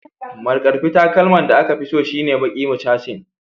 Markarfi takalman da aka fi so shine baki mucasin